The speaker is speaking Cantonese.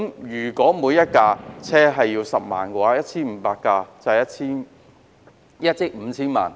如果每部車輛需要10萬元，那麼 1,500 部車輛便需要1億 5,000 萬元。